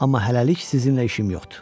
Amma hələlik sizinlə işim yoxdur.